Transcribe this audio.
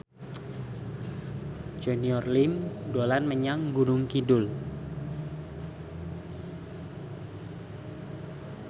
Junior Liem dolan menyang Gunung Kidul